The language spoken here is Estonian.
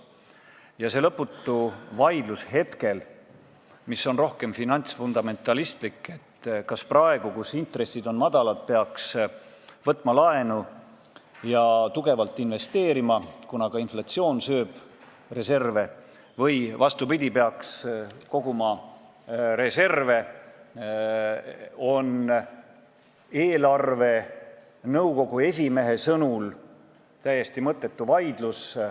Ja see lõputu vaidlus, mis on rohkem finantsfundamentalistlik vaidlus – et kas praegu, kui intressid on madalad, peaks võtma laenu ja kõvasti investeerima, kuna ka inflatsioon sööb reserve, või vastupidi, peaks koguma reserve –, on eelarvenõukogu esimehe sõnul täiesti mõttetu vaidlus.